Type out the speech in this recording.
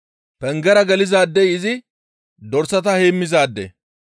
Pengera gelizaadey izi dorsata heemmizaade.